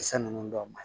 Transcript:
Kisɛ ninnu dɔw ma